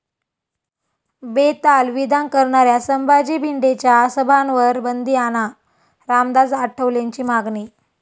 बेताल विधान करणाऱ्या संभाजी भिडेंच्या सभांवर बंदी आणा, रामदास आठवलेंची मागणी